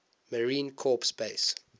marine corps base